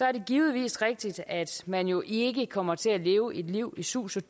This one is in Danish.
er det givetvis rigtigt at man jo ikke kommer til at leve et liv i sus og